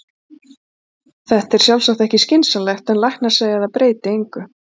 Þetta er sjálfsagt ekki skynsamlegt, en læknar segja að það breyti engu.